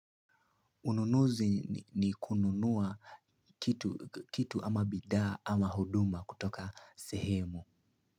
Ununuzi ni kununua kitu ama bidaa ama huduma kutoka sehemu.